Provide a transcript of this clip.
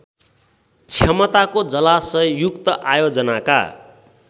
क्षमताको जलाशययुक्त आयोजनाका